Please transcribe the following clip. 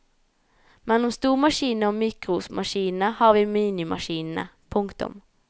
Mellom stormaskinene og mikromaskinene har vi minimaskinene. punktum